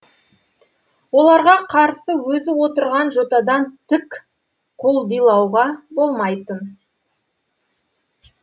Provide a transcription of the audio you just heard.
оларға қарсы өзі отырған жотадан тік құлдилауға болмайтын